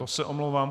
To se omlouvám.